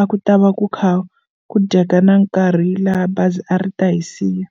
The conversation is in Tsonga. a ku ta va ku kha ku dyeka na nkarhi laha bazi a ri ta hi siya.